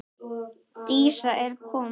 Dísa er komin!